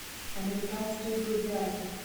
американские гладиаторы